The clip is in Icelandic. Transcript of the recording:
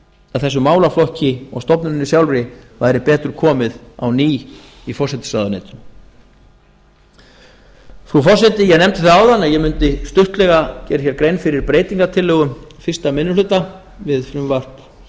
að þessum málaflokki og stofnuninni sjálfri væri betur komið á ný í forsætisráðuneytinu frú forseti ég nefndi það áðan að ég mundi stuttlega gera grein fyrir breytingartillögum fyrsti minni hluta við frumvarp